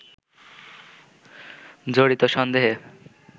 জড়িত সন্দেহে